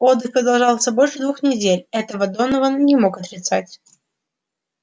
отдых продолжался больше двух недель этого донован не мог отрицать